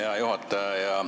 Hea juhataja!